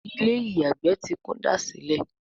Ilé-ìyàgbé tí kúndàsílẹ̀